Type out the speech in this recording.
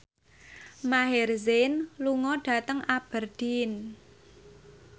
Maher Zein lunga dhateng Aberdeen